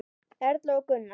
Erla og Gunnar.